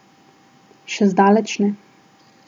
Še zdaleč ne.